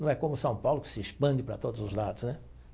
Não é como São Paulo que se expande para todos os lados, né?